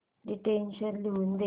dictation लिहून घे